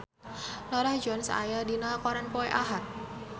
Norah Jones aya dina koran poe Ahad